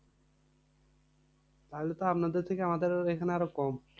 তাহলে তো আপনাদের থেকে আমাদের এখানে আরও কম।